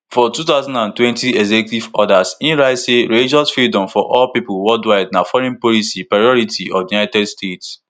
for two thousand and twenty executive order e write say religious freedom for all pipo worldwide na foreign policy priority of di united states